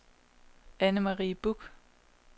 Anne-Marie Buch